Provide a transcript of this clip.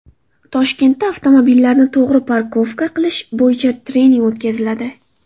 Toshkentda avtomobillarni to‘g‘ri parkovka qilish bo‘yicha trening o‘tkaziladi.